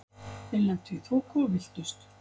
Þeir lentu í þoku og villtust.